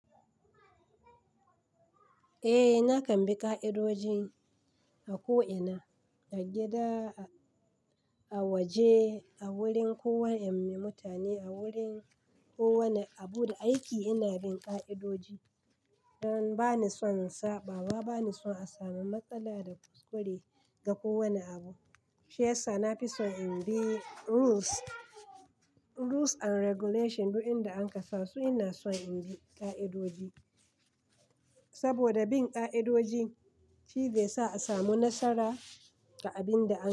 Eh nakan bi ka'idoji a ko'ina, a gida, a waje, a wurin kowane mutane, a wurin kowane abu da aiki ina bin ka'idoji. Dan bani son saɓawa, bani son a samu matsala da kuskure ga kowane abu. Shi yasa na fi son in bi rules and regulation duk inda an kasa su ina son in bi ka'idoji. Saboda bin ka'idoji shine yasa a samu nasara a abinda ake yi.